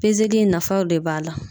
in nafaw de b'a la.